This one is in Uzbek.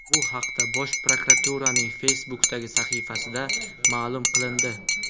Bu haqda Bosh prokuraturaning Facebook’dagi sahifasida ma’lum qilindi .